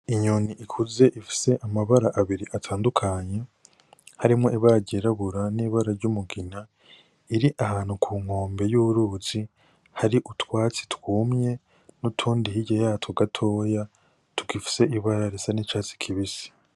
Inyoni ikuze ifise amabara abiri atandukanye, harimwo ibara ryirabura n'ibara ry'umugina, iri ahantu ku nkombe y'uruzi hari utwatsi twumye n'utundi hirya yatwo gatoya, tugifise ibara risa n'icatsi kibisi.